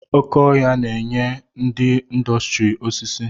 Oké ọhia na-enye ndị ịndọstrị osisi.